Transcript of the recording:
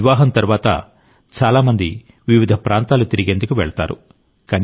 వివాహం తరువాత చాలా మంది వివిధ ప్రాంతాలు తిరిగేందుకు వెళతారు